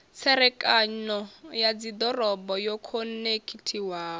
tserekano ya dzidoroboni yo khonekhithiwaho